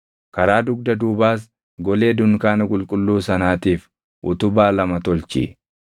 karaa dugda duubaas golee dunkaana qulqulluu sanaatiif utubaa lama tolchi.